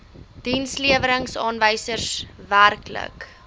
dienslewerings aanwysers werklike